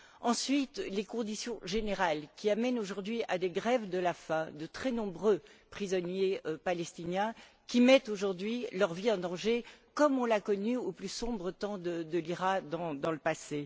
Ensuite, les conditions générales, qui amènent aujourd'hui à des grèves de la faim de très nombreux prisonniers palestiniens, qui mettent, aujourd'hui, leur vie en danger, comme on l'a connu au plus sombre temps de l'IRA dans le passé.